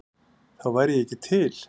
Þá væri ég ekki til?